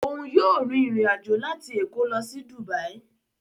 Oun yóò rìn ìrin ajo láti Èkó lo sí Dubai